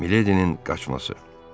Mileydinin qaçması.